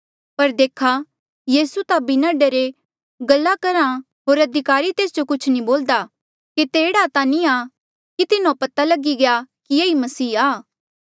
पर देखा यीसू ता बिना डरे गल्ला करहा होर अधिकारी तेस जो कुछ नी बोल्दा केते एह्ड़ा ता नी आ कि तिन्हो पता लगी गया कि ये ई मसीह आ